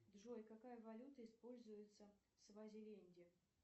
джой какая валюта используется в свазиленде